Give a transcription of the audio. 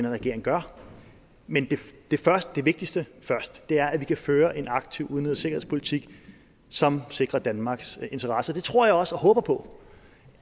regering gør men det vigtigste først det er at vi kan føre en aktiv udenrigs og sikkerhedspolitik som sikrer danmarks interesser det tror jeg også og håber på